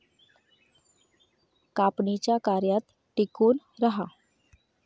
कापणीच्या कार्यात टिकून राहा